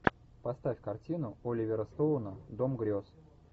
поставь картину оливера стоуна дом грез